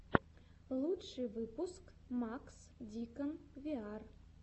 лучший выпуск макс дикон виар